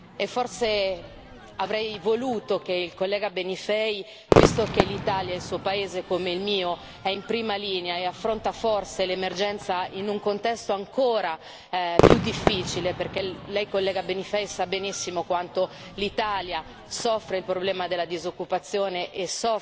E forse avrei voluto che il collega Benifei visto che l'Italia è il suo paese come il mio ed è in prima linea nell'affrontare l'emergenza in un contesto ancora più difficile, perché lei collega Benifei sa benissimo quanto l'Italia soffra per i problemi della disoccupazione e